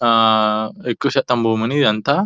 ఆ ఆ ఎక్కువ శాతం భూములు ఇదంతా.